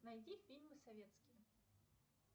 найди фильмы советские